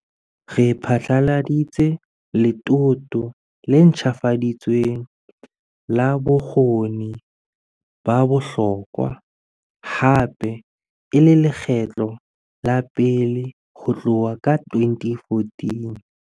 Re phatlaladitse letoto le ntjhafaditsweng la Bokgoni ba Bohlokwa, hape e le lekgetlo la pele ho tloha ka 2014.